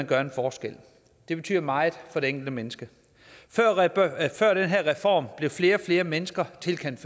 gør en forskel det betyder meget for det enkelte menneske før den her reform blev flere og flere mennesker tilkendt